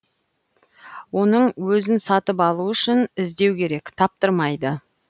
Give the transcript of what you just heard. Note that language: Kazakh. оның өзін сатып алу үшін іздеу керек таптырмайды